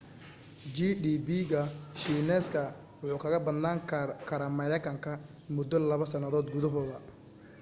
gdp-ga shiineysa wuxu kaga badnaan ka maraykanka muddo laba sannadood gudahooda